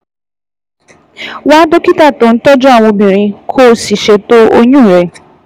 Wá dókítà tó ń tọ́jú àwọn obìnrin, kó o sì ṣètò oyún rẹ